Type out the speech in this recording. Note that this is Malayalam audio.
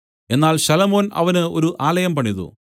എന്നാൽ ശലോമോൻ അവന് ഒരു ആലയം പണിതു